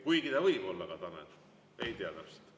Kuigi ta võis olla Tanel, ei tea täpselt.